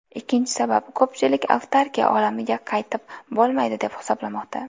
Ikkinchi sabab , ko‘pchilik avtarkiya olamiga qaytib bo‘lmaydi deb hisoblamoqda.